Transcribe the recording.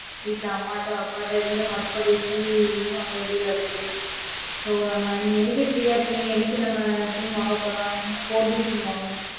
வீட்டுல அம்மாட அப்பாட hotspot use பண்ணி வாங்க வேண்டியதை இருக்கு. so நம்ம நீ என்னைக்கு free யா இருக்கியா என்னைக்கு நம்ம sim வாங்க போலாம் four G sim வாங்கணும்.